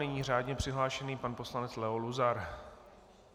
Nyní řádně přihlášený pan poslanec Leo Luzar.